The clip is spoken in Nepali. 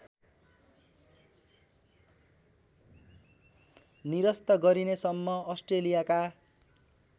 निरस्त गरिनेसम्म अस्ट्रेलियाका